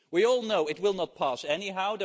We all know it will not pass anyhow